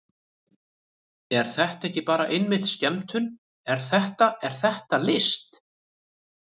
Er þetta ekki bara einmitt skemmtun, er þetta, er þetta list?